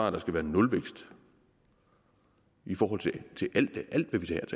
at der skal være nulvækst i forhold til